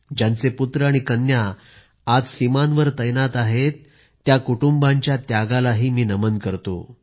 ज्यांचे पुत्र आणि कन्या आज सीमांवर तैनात आहेत त्या कुटुंबाच्या त्यागाला मी नमन करतो